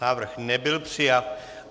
Návrh nebyl přijat.